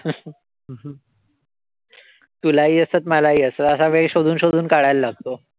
तुलाही असतात, मलाही असतात. असा वेळ शोधून शोधून काढायला लागतो.